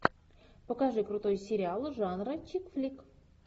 покажи крутой сериал жанра чикфлик